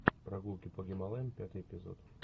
прогулки по гималаям пятый эпизод